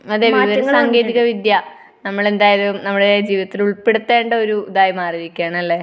അതെ വിവരസാങ്കേതിക വിദ്യ. നമ്മൾ എന്തായാലും അനമ്മുടെ ജവിതത്തിൽ ഉൾപ്പെടുത്തേണ്ട ഒരു ഇതായി മാറിയിരിക്കയാണ്. അല്ലെ?